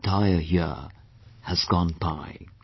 An entire year has gone by